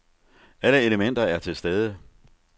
Alle elementer er til stede.